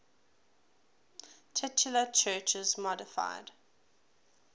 titular churches modified